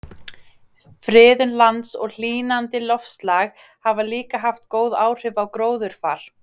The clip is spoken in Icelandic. friðun lands og hlýnandi loftslag hafa líka haft góð áhrif á gróðurfar